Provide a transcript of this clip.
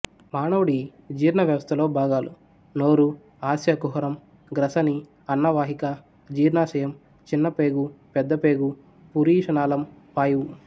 మానవుడి జీర్ణ వ్యవస్థలో భాగాలు నోరు ఆస్యకుహరం గ్రసని అన్నవాహిక జీర్ణాశయం చిన్నపేగు పెద్దపేగు పురీష నాళం పాయువు